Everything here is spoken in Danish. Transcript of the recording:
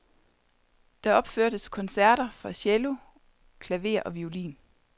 Der opførtes koncerter for cello, klaver og violin.